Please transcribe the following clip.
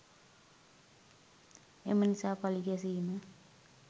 එම නිසා පලි ගැසීම